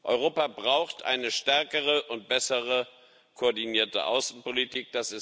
Europa braucht eine stärkere und besser koordinierte Außenpolitik.